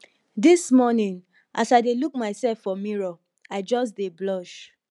dis morning as i dey look myself for mirror i just dey blush